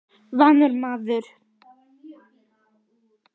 Vanur maður.